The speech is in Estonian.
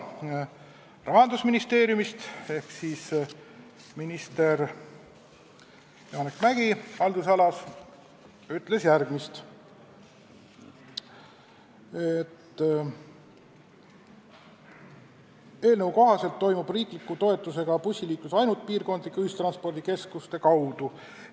Rahandusministeeriumi ühe osapoole ehk riigihalduse ministri Janek Mäggi sõnul toimub eelnõu kohaselt riikliku toetusega bussiliiklus ainult piirkondlike ühistranspordikeskuste kaudu.